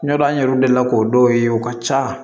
Ɲɔndɛ an yɛrɛ delila k'o dɔw ye o ka ca